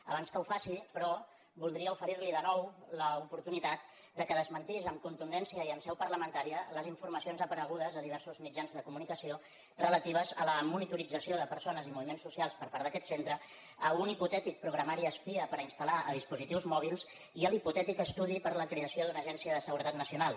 abans que ho faci però voldria oferir li de nou l’oportunitat que desmentís amb contundència i en seu parlamentària les informacions aparegudes a diversos mitjans de comunicació relatives a la monitorització de persones i moviments socials per part d’aquest centre a un hipotètic programari espia per instal·lar a dispositius mòbils i a l’hipotètic estudi per a la creació d’una agència de seguretat nacional